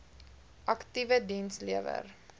aktiewe diens lewer